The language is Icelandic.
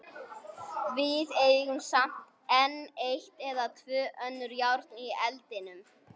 Við eigum samt enn eitt eða tvö önnur járn í eldinum.